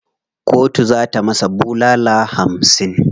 Kotu za ta masa bulala hamsin.